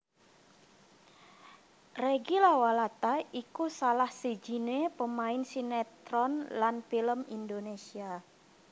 Reggy Lawalata iku salah sijiné pemain sinétron lan film Indonésia